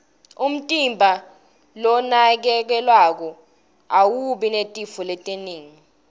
umtimba lonakekelwako awubi netifo letinengi